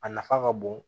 A nafa ka bon